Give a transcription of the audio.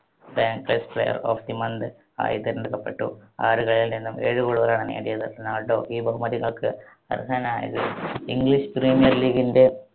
ബാൻക്ലേസ് player of the month ആയി തെരഞ്ഞടുക്കപ്പെട്ടു. ആറ് കളികളിൽ നിന്നും ഏഴ് goal കളാണ് നേടിയത് റൊണാൾഡോ ഈ ബഹുമതികൾക്ക് അർഹനായത്. ഇംഗ്ലീഷ് premier league ന്റെ